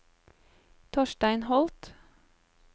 Torstein Holth